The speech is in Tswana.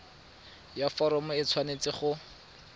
ya foromo e tshwanetse go